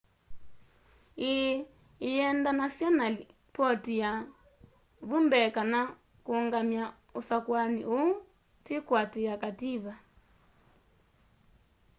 ii ĩyendanasya na lipotĩ sya vu mbee kana kũngamya usakũani uu tĩ kuatĩia kativa